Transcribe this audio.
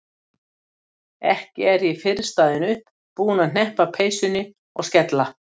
Ekki er ég fyrr staðin upp, búin að hneppa peysunni og skella